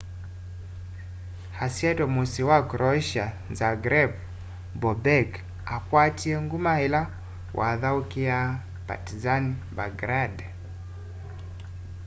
asyaitwe musyi munene wa croatia zagreb bobek akwatie nguma ila wathaukiaa partizan belgrade